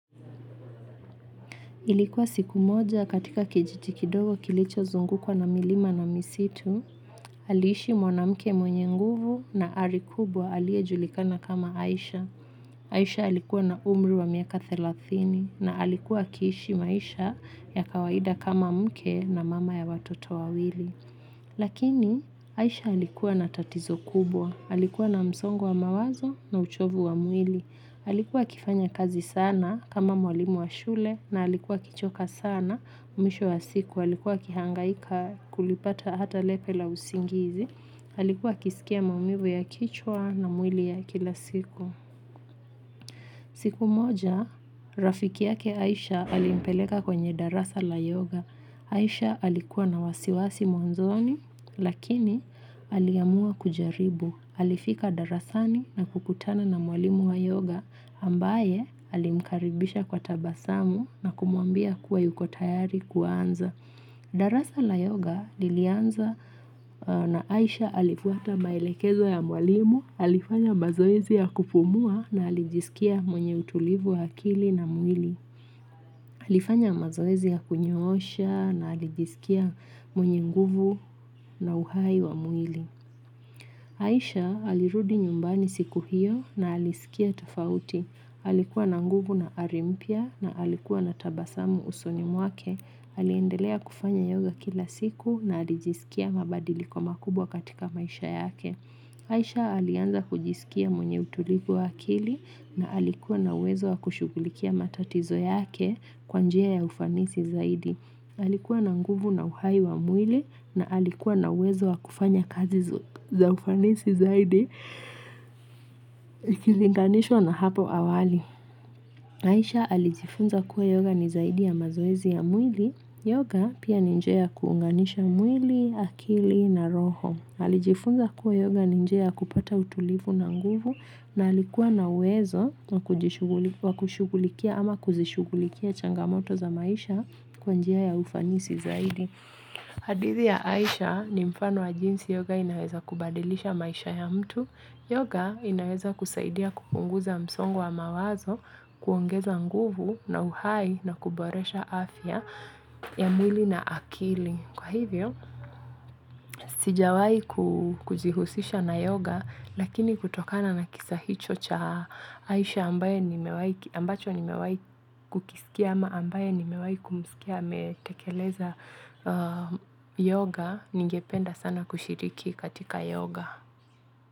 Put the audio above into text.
Nilikuwa siku moja katika kijiji kidogo kilicho zungukwa na milima na misitu. Aliishi mwanamke mwenye nguvu na ari kubwa alie julikana kama Aisha. Aisha alikuwa na umri wa miaka thelathini na alikuwa akiishi maisha ya kawaida kama mke na mama ya watoto wawili. Lakini aisha alikuwa na tatizo kubwa alikuwa na msongo wa mawazo na uchovu wa mwili. Alikuwa akifanya kazi sana kama mwalimu wa shule na alikuwa akichoka sana mwisho wa siku. Alikuwa akihangaika kulipata hata lepe la usingizi alikuwa akisikia maumivu ya kichwa na mwili ya kila siku. Siku moja, rafiki yake Aisha alimpeleka kwenye darasa la yoga. Aisha alikuwa na wasiwasi mwanzoni lakini aliamua kujaribu. Alifika darasani na kukutana na mwalimu wa yoga, ambaye alimkaribisha kwa tabasamu na kumuambia kuwa yuko tayari kuanza. Darasa la yoga lilianza na Aisha alifuata maelekezo ya mwalimu, alifanya mazoezi ya kupumua na alijisikia mwenye utulivu wa akili na mwili, alifanya mazoezi ya kunyoosha na alijisikia mwenye nguvu na uhai wa mwili. Aisha alirudi nyumbani siku hiyo na aliskia tofauti. Alikuwa na nguvu na ari mpya na alikuwa na tabasamu usoni mwake. Aliendelea kufanya yoga kila siku na alijisikia mabadiliko makubwa katika maisha yake. Aisha alianza kujisikia mwenye utulivu wa akili na alikuwa na uwezo wa kushughulikia matatizo yake kwa njia ya ufanisi zaidi. Alikuwa na nguvu na uhai wa mwili na alikuwa na uwezo wakufanya kazi za ufanisi zaidi ikilinganishwa na hapo awali Aisha alijifunza kuwa yoga ni zaidi ya mazoezi ya mwili yoga pia ni njia ya kuunganisha mwili, akili na roho alijifunza kuwa yoga ni njia ya kupata utulivu na nguvu na alikuwa na uwezo wakujishughu wakushugulikia ama kuzishugulikia changamoto za maisha kwa njia ya ufanisi zaidi hadithi ya Aisha ni mfano wa jinsi yoga inaweza kubadilisha maisha ya mtu. Yoga inaweza kusaidia kupunguza msongo wa mawazo kuongeza nguvu na uhai na kuboresha afya ya mwili na akili. Kwa hivyo, sijawahi kujihusisha na yoga lakini kutokana na kisa hicho cha aisha ambaye nimewahi ambacho nimewahi kukisikia ama ambaye nimewahi kumsikia ametekeleza yoga, ningependa sana kushiriki katika yoga.